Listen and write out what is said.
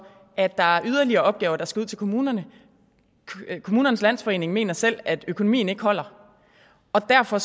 at der er yderligere opgaver der skal ud til kommunerne kommunernes landsforening mener selv at økonomien ikke holder derfor